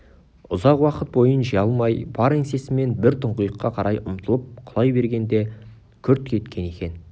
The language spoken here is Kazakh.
ұзақ уақыт бойын жия алмай бар еңсесімен бір тұңғиыққа қарай ұмтылып құлай бергендей күрт кеткен екен